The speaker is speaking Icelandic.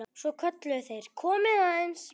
Svo kölluðu þeir: Komiði aðeins!